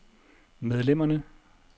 medlemmerne